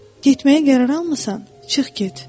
Getməyə qərar almısan, çıx get.